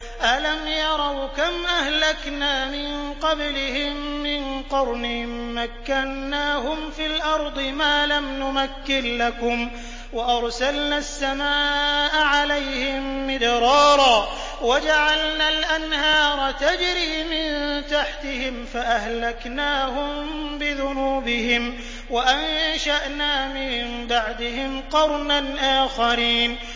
أَلَمْ يَرَوْا كَمْ أَهْلَكْنَا مِن قَبْلِهِم مِّن قَرْنٍ مَّكَّنَّاهُمْ فِي الْأَرْضِ مَا لَمْ نُمَكِّن لَّكُمْ وَأَرْسَلْنَا السَّمَاءَ عَلَيْهِم مِّدْرَارًا وَجَعَلْنَا الْأَنْهَارَ تَجْرِي مِن تَحْتِهِمْ فَأَهْلَكْنَاهُم بِذُنُوبِهِمْ وَأَنشَأْنَا مِن بَعْدِهِمْ قَرْنًا آخَرِينَ